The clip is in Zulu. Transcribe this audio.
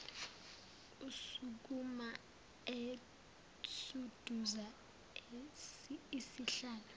esukuma esunduza isihlalo